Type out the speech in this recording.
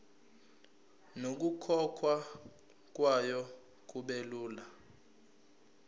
nokukhokhwa kwayo kubelula